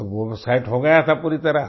तो वो सेट हो गया था पूरी तरह